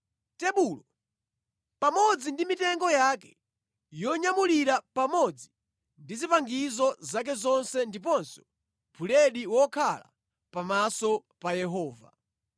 tebulo pamodzi ndi mitengo yake yonyamulira pamodzi ndi zipangizo zake zonse ndiponso buledi wokhala pamaso pa Yehova;